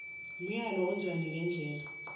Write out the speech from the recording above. umyalo onjalo ngendlela